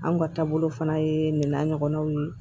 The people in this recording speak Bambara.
Anw ka taabolo fana ye nin n'a ɲɔgɔnnaw ye